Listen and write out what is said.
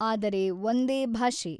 ಆದರೆ ಒಂದೇ ಭಾಷೆ.